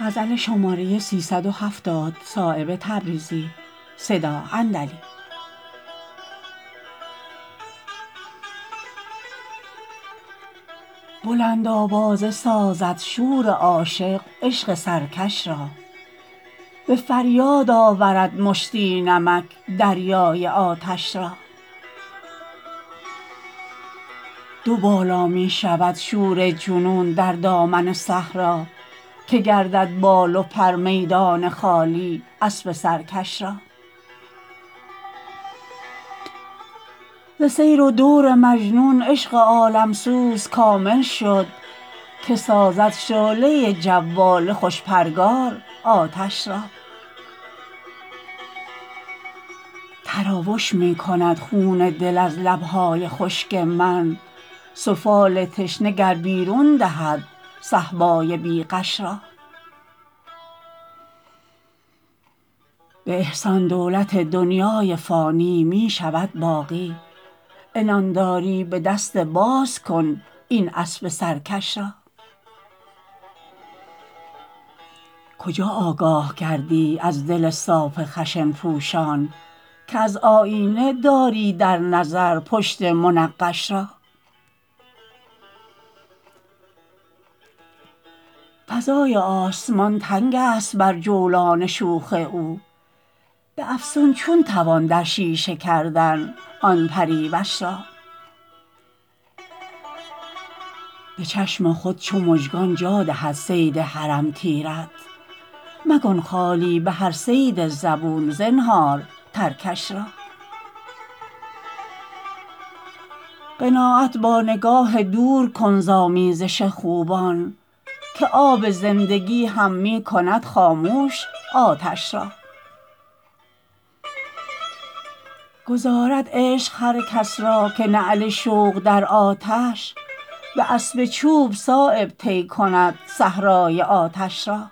بلند آوازه سازد شور عاشق عشق سرکش را به فریاد آورد مشتی نمک دریای آتش را دو بالا می شود شور جنون در دامن صحرا که گردد بال و پر میدان خالی اسب سرکش را ز سیر و دور مجنون عشق عالمسوز کامل شد که سازد شعله جواله خوش پرگار آتش را تراوش می کند خون دل از لبهای خشک من سفال تشنه گر بیرون دهد صهبای بی غش را به احسان دولت دنیای فانی می شود باقی عنانداری به دست باز کن این اسب سرکش را کجا آگاه گردی از دل صاف خشن پوشان که از آیینه داری در نظر پشت منقش را فضای آسمان تنگ است بر جولان شوخ او به افسون چون توان در شیشه کردن آن پریوش را به چشم خود چو مژگان جا دهد صید حرم تیرت مکن خالی به هر صید زبون زنهار ترکش را قناعت با نگاه دور کن ز آمیزش خوبان که آب زندگی هم می کند خاموش آتش را گذارد عشق هر کس را که نعل شوق در آتش به اسب چوب صایب طی کند صحرای آتش را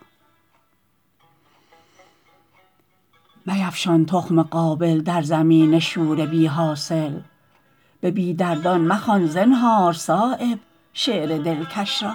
میفشان تخم قابل در زمین شور بی حاصل به بی دردان مخوان زنهار صایب شعر دلکش را